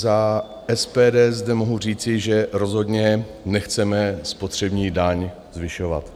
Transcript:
Za SPD zde mohu říci, že rozhodně nechceme spotřební daň zvyšovat.